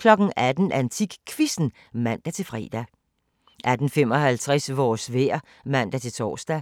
18:00: AntikQuizzen (man-fre) 18:55: Vores vejr (man-tor)